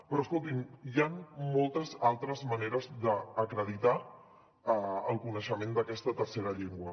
però escoltin hi ha moltes altres maneres d’acreditar el coneixement d’aquesta tercera llengua